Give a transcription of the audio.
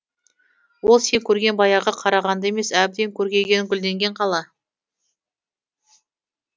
ол сен көрген баяғы қарағанды емес әбден көркейген гүлденген қала